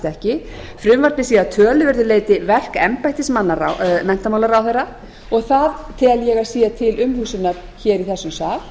ekki frumvarpið sé að töluverðu leyti verk embættismanna menntamálaráðherra og það tel ég að sé til umhugsunar í þessum sal